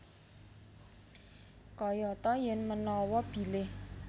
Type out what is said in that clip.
Kayata yen manawa bilih